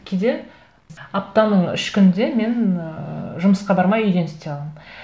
кейде аптаның үш күнінде мен ыыы жұмысқа бармай үйден істей аламын